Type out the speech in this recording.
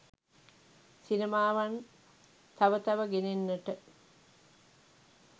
සිනමාවන් තව තව ගෙනෙන්නට